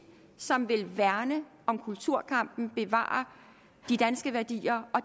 som vil værne om kulturkampen bevare de danske værdier og